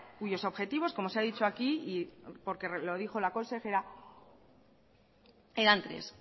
cuyos objetivos como se ha dicho aquí y porque lo dijo la consejera eran tres